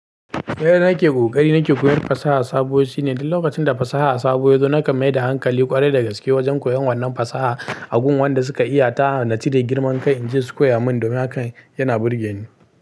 Yanda nake ƙoƙari nake koyon fasaha sabo shine duk lokacin da fasaha sabo ya zo, na kan maida hankali ƙwarai da gaske wajen koyon wannan fasaha, a gun wanda suka iya ta, na cire girman kai in je su koya min domin hakan yana burge ni.